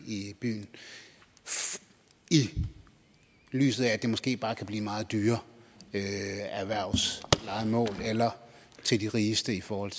i byen i lyset af at det måske bare kan blive meget dyrere erhvervslejemål eller til de rigeste i forhold